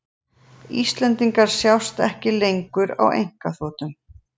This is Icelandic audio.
Íslendingar sjást ekki lengur á einkaþotum